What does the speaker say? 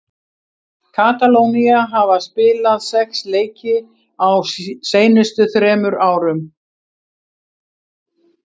Katalónía hafa spilað sex leiki á seinustu þremur árum.